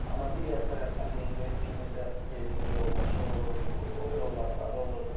Amma digər tərəfdən də indi kiminsə evində yoldaşı olurdu, övladları olurdu.